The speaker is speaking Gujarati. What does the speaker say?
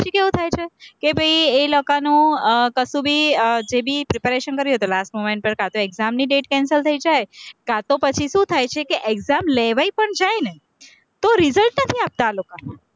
કે ભાઈ, એ લોકોનું કશું ભી જે ભી preparation કરી હોય તો last moment પર કાં તો exam ની date cancel થઇ જાય, કાં તો પછી શું થાય છે કે exam લેવાઈ પણ જાય ને તો result નથી આપતા આ લોકો